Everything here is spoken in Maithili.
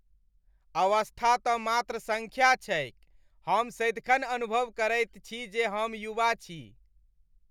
अवस्था तँ मात्र सङ्ख्या छैक। हम सदिखन अनुभव करैत छी जे हम युवा छी।